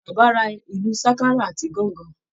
Bàbá ra ìlu Ṣákárà àti Gangan